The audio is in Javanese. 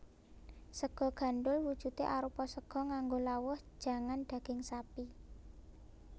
Sega gandhul wujudé arupa sega nganggo lawuh jangan daging sapi